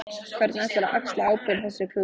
Hvernig ætlarðu að axla ábyrgð á þessu klúðri?